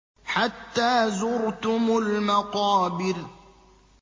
حَتَّىٰ زُرْتُمُ الْمَقَابِرَ